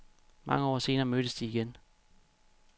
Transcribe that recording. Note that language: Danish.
Mange år senere mødtes de igen.